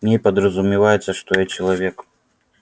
в ней подразумевается что я человек